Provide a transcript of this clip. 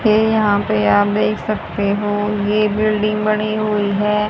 है यहां पे आप देख सकते हो ये बिल्डिंग बनी हुई है।